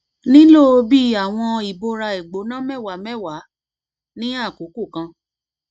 nilo bi awọn ibora igbona mẹwa mẹwa ni akoko kan